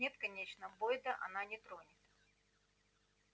нет конечно бойда она не тронет